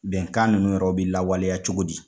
Bɛnkan ninnu yɛrɛw bi lawaleya cogo di